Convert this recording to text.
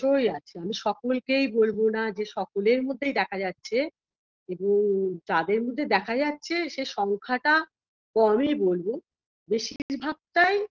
তইআছে আমি সকলকেই বলবো না যে সকলের মধ্যেই দেখা যাচ্ছে কিন্তু যাদের মধ্যে দেখা যাচ্ছে সে সংখ্যাটা কমই বলব বেশিভাগটাই